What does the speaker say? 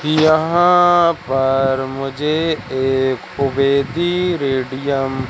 यहां पर मुझे एक बेटी बेटियां--